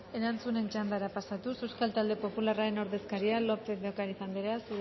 erantzunen txandara pasatuz euskal talde popularraren ordezkaria lópez de ocariz anderea